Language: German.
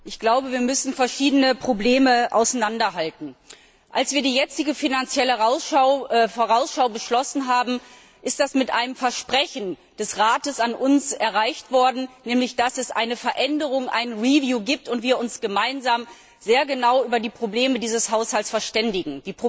Ich glaube, wir müssen verschiedene Probleme auseinanderhalten. Als wir die jetzige Finanzielle Vorausschau beschlossen haben, ist das mit einem Versprechen des Rates an uns erreicht worden, nämlich dass es eine Veränderung, ein gibt, und wir uns gemeinsam sehr genau über die Probleme dieses Haushalts verständigen.